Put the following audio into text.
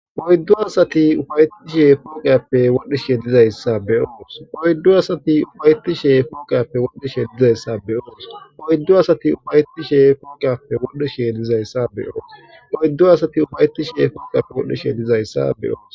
Oyddu asati ufayettishe punqappe wodhishe dizayssa be oos oyddu asati ufayeti shee punqappe wodhdhishe dizayssa be oos oyddu asati ufayetti she punqappe wodhdhishe dizayssa be oos oyddu asati ufayeti shee punqappe wodhdhishe dizayssa be oos.